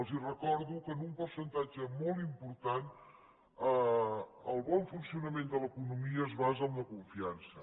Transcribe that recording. els recordo que en un percentatge molt important el bon funcionament de l’economia es basa en la confiança